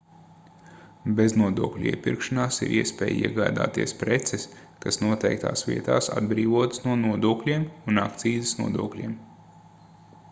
beznodokļu iepirkšanās ir iespēja iegādāties preces kas noteiktās vietās atbrīvotas no nodokļiem un akcīzes nodokļiem